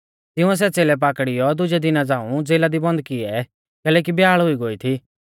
तिंउऐ सै च़ेलै पाकड़ियौ दुजै दिना झ़ांऊ ज़ेला दी बन्द किऐ कैलैकि ब्याल़ हुई गोई थी